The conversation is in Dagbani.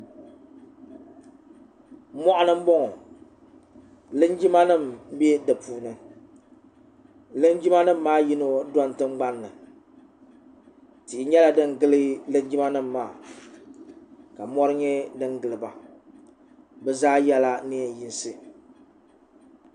moɣani n boŋo linjima nim n bɛ di puuni linjima nim maa puuni yino doni tingbanni tihi nyɛla din gili linjima nim maa ka mori nyɛ din giliba bi zaa yɛla neen yinsi